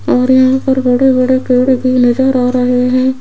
और यहां पर बड़े बड़े पेड़ की नजर आ रहे हैं।